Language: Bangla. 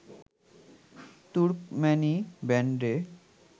তুর্কম্যানি ব্যান্ডে